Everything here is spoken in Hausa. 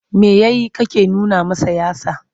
Me ya yi kake nuna masa yatsa?